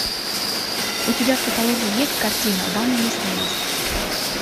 у тебя в каталоге есть картина вам и не снилось